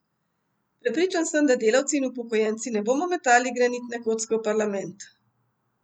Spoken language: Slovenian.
Prepričan sem, da delavci in upokojenci ne bomo metali granitne kocke v parlament!